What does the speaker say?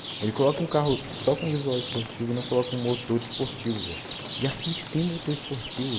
рекламка высоком вызывать мужчина около кому то из порчи вы яхты ему то есть получил